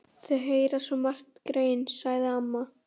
Þau heyra svo margt, greyin, sagði amma.